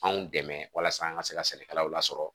Anw dɛmɛ walasa an ka se ka sɛnɛkɛlaw lasɔrɔ